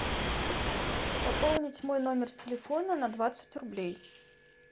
пополнить мой номер телефона на двадцать рублей